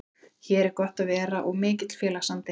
Hér er gott að vera og mikill félagsandi.